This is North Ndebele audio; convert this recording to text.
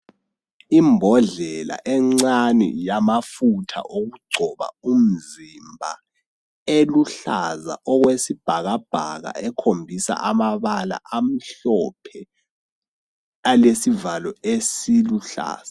Imbodlela encane yamafutha okugcoba umzimba eluhlaza okwesibhakabhaka ekhombisa amabala amhlophe alesivalo esiluhlaza.